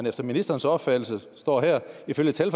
efter ministerens opfattelse ifølge tal